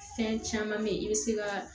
Fɛn caman bɛ yen i bɛ se ka